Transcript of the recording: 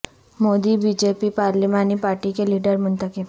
Modi BJP پارلیمانی party کے leader منتخب